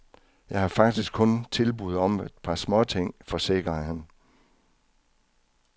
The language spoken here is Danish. Jeg har faktisk kun tilbud om et par småting, forsikrer han.